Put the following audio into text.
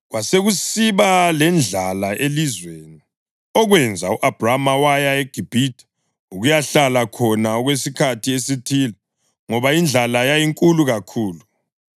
Kwasekusiba lendlala elizweni, okwenza u-Abhrama waya eGibhithe ukuyahlala khona okwesikhathi esithile ngoba indlala yayinkulu kakhulu.